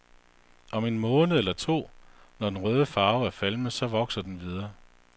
Om en måned eller to, når den røde farve er falmet, så vokser den videre.